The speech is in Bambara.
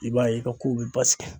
I b'a ye i ka kow be basigi.